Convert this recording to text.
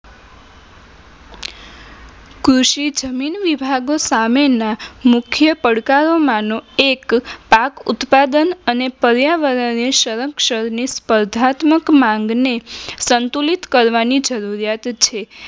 કૃષિ વિભાગો સામેના મુખ્ય પડકારો માનો એક પાક ઉત્પાદન અને પર્યાવરણને સંરક્ષણને પ્રધાત્મક માંગને સંતુલિત કરવાની જરૂરિયાત છે.